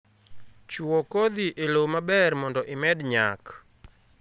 Chuo kodhi e lowo maber mondo imed nyak